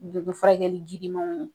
furakɛli girimanw